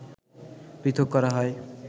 পৃথক করা হয়